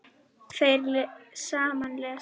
Þeir sem lesa